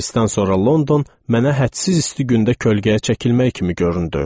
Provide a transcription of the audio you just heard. Parisdən sonra London mənə hədsiz isti gündə kölgəyə çəkilmək kimi göründü.